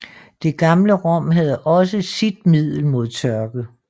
Det gamle Rom havde også sit middel mod tørke